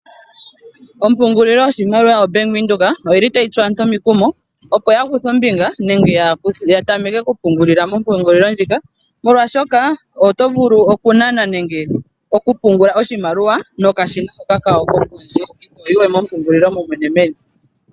Oompungililo yoshimaliwa yombaanga yaVenduka oyili tayitsu aantu omikumo opoyakuthe ombinga nenge yatameke okupungulila mompungulilo ndjika, moolwaashoka otovulu kunana nenge okupungula oshimaliwa nokashina hoka kawo kokondje, itoyi we mompungulilo momwene meni.